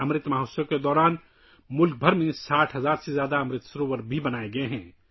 امرت مہوتسو کے دوران ملک بھر میں 60 ہزار سے زیادہ امرت سروور بھی بنائے گئے ہیں